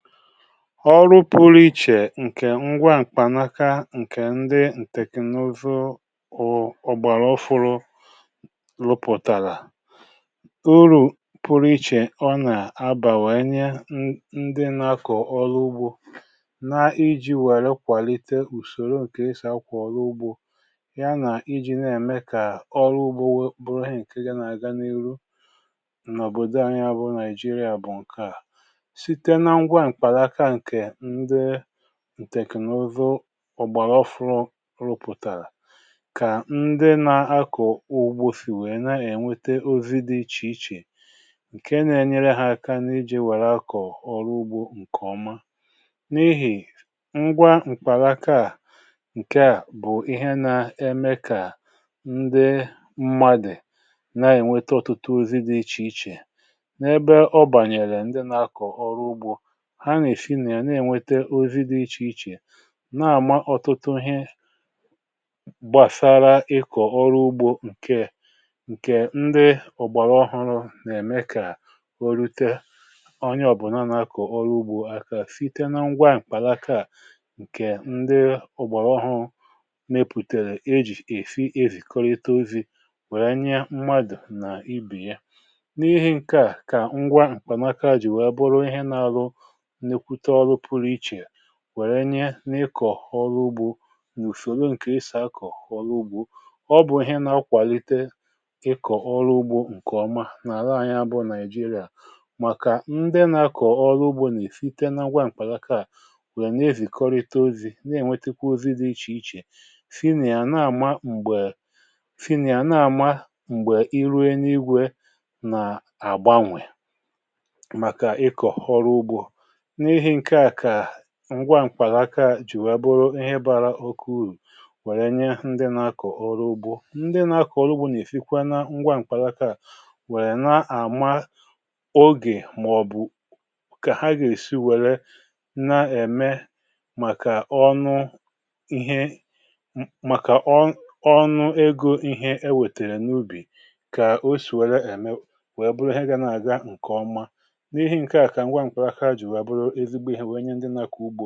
Ọrụ pụrụ iche ǹke ngwa ǹkpànaka ǹkè ndị ǹtèkènụzụ ọ̀gbàrà ọ̀fụrụ rụpụ̀tàrà, bụ̀ uru pụrụ iche ọ nà-abà, wee nye ndị na-akọ̀ ọrụ ugbȯ ka ha jiri wèrè kwàlite ùsòro ǹkè ịsà kwà ọrụ ugbȯ ha. Ọ na-enyere ha n’ịmè kà ọrụ ugbȯ bụrụ hà ǹke ga nà-aga n’ihu n’òbòdò anyị, bụ̀ Naịjíríà. um ǹtèkènụzụ ọ̀gbàrà ọ̀fụrụ rụpụ̀tàrà kà ndị na-akọ̀ ugbo sì wèe na-ènweta ozi dị iche iche ǹke na-enyere ha aka n’iji wèrè akọ̀ ọrụ ugbo ǹkè ọma, n’ihì ngwa m̀kpàlà. Ngwa à bụ̀ ihe na-eme kà ndị mmadụ̀ na-ènweta ọtụtụ ozi dị iche iche n’ebe ọ bànyèrè ndị na-akọ̀ ọrụ ugbo, um nà-amata ọtụtụ ihe gbàsara ịkọ̀ ọrụ ugbȯ. ǹtèkènụzụ ọ̀gbàrà ọ̀fụrụ nà-èmekwa kà o rute onye ọ̀bụ̀na nà-akọ̀ ọrụ ugbȯ aka site na ngwa ǹkpàlàka. ǹkè ndị ọ̀gbàrà ọhụrụ nà-èpùtèrè ejì èfi ezìkọrita ozi̇, wèrè nye mmadụ̀ nà ibì ya. N’ihi nke à, ngwa ǹkpàlaka à jì wèe bụrụ ihe n’alụ, wèrè nye n’ịkọ̀ ọrụ ugbȯ nà ùfòro ǹkè ịsà akọ̀ ọrụ ugbȯ. Ọ bụ̀ ihe na-akwàlite ịkọ̀ ọrụ ugbȯ ǹkè ọma n’àla anyị, bụ̀ Naịjíríà, màkà ndị nà-akọ̀ ọrụ ugbȯ nà-èfite n’agwà m̀kpàgakȧ, um wèe na-ezìkọrịta ozi̇ nà-ènwetakwa ozi dị iche iche. Funìa à na-àma m̀gbè, um irue n’igwė nà àgbanwè ngwa ǹkwàlaakaa jì wèe bụrụ ihe bara okė urù, wèrè nye ndị nà-akọ̀ ọrụ ugbȯ. Ndị nà-akọ̀ ọrụ ugbȯ nà-èfikwa n’ngwa ǹkwàlaaka à, wèrè nà-àma ogè màọ̀bụ̀ kà ha gà-èsi wèrè n’ème màkà ọnụ ihe, màkà ọṅụ, egȯ, na ihe e wètèrè n’ubì, kà o sì wèrè ème wee bụrụ ha ga nà-aga ǹkè ọma. ǹkè à bụ̀ ihe onye dịrịrịrị mkpa n’ụwa ọrụ ugbȯ.